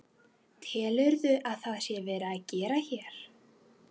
Telurðu að það sé verið að gera hér?